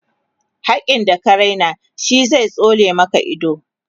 hakkin da ka Raina shi zai tsole Maka ido